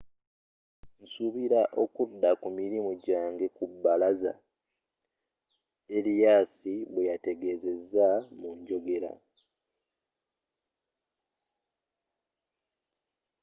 nsuubira okudda ku mirimu gyange ku bbalaza,”arias bweyategezeza mu njogera